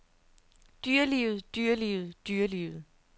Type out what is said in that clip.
dyrelivet dyrelivet dyrelivet